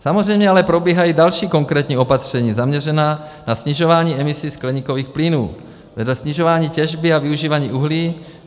Samozřejmě ale probíhají další konkrétní opatření zaměřená na snižování emisí skleníkových plynů vedle snižování těžby a využívání uhlí.